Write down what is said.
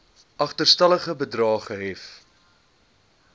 agterstallige bedrae gehef